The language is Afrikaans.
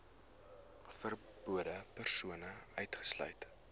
verbonde persone uitgesluit